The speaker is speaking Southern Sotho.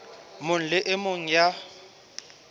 mong le e mong ya